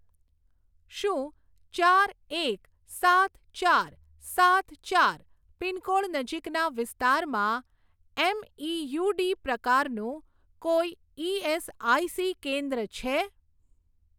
શું ચાર એક સાત ચાર સાત ચાર પિનકોડ નજીકના વિસ્તારમાં એમઇયુડી પ્રકારનું કોઈ ઇએસઆઇસી કેન્દ્ર છે?